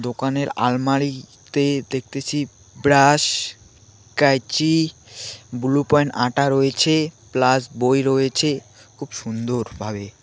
দোকানের আলমারিতে দেখতেছি ব্রাশ কাঁইচি ব্লু পয়েন্ট আটা রয়েছে প্লাস বই রয়েছে খুব সুন্দর ভাবে.